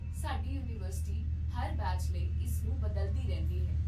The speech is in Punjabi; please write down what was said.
ਸਾਡੀ ਯੂਨੀਵਰਸਿਟੀ ਹਰ ਬੈਚ ਲਈ ਇਸ ਨੂੰ ਬਦਲਦੀ ਰਹਿੰਦੀ ਹੈ